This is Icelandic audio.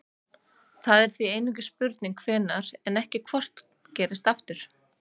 Það er því einungis spurning hvenær en ekki hvort gerist aftur.